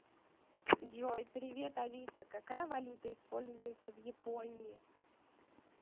джой привет алиса какая валюта используется в японии